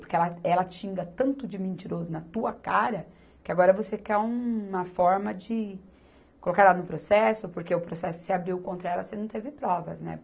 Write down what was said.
Porque ela, ela te xinga tanto de mentiroso na tua cara, que agora você quer uma forma de colocar ela no processo, porque o processo se abriu contra ela, você não teve provas, né?